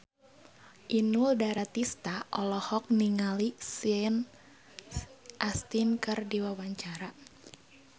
Inul Daratista olohok ningali Sean Astin keur diwawancara